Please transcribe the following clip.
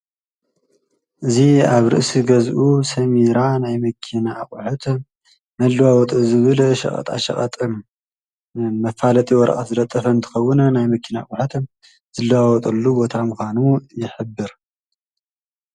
እዙ ኣብ ርእሲ ገዝኡ ሰሚራ ናይ ምኪና ኣቝዐት መልዋወጡ ዝብል ሽቐጣ ሽቐጠ መፋለት ይወርኣት ዘለጠፈን ትኸዉነ ናይ መኪና ኣቝዓት ዘለዋወጠሉ ወታ ኣምዃኑ የኅብር።